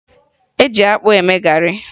E ji akpụ eme garị